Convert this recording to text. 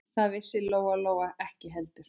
Það vissi Lóa-Lóa ekki heldur.